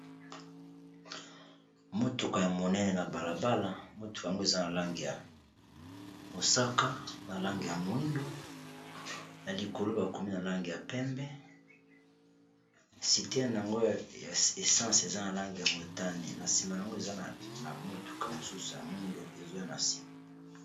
Motuka ya monene na balabala motuka yango eza na lange ya mosaka ,na lange ya moindo, na likolo bakomi na lange ya pembe. Siterne na yango ya essence eza na lange ya motane ,na sima yango eza na motuka mosusu ya moindo ezwa na nsima.